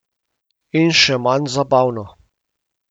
In še manj zabavno.